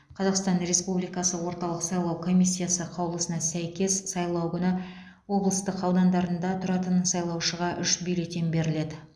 қазақстан республикасы орталық сайлау комиссиясы қаулысына сәйкес сайлау күні облыстың аудандарында тұратын сайлаушыға үш бюллетен беріледі